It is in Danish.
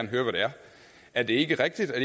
høre hvad det er er det ikke rigtigt at